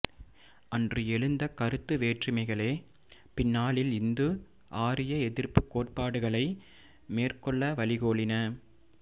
அன்று எழுந்த கருத்து வேற்றுமைகளே பின்னாளில் இந்து ஆரிய எதிர்ப்புக் கோட்பாடுகளை மேற்கொள்ள வழிகோலின